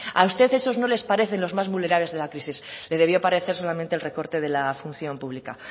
a usted esos no les parece los más vulnerables de la crisis le debió parecer solamente el recorte de la función pública